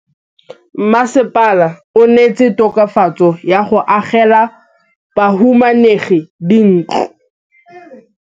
Mmasepala o neetse tokafatsô ka go agela bahumanegi dintlo.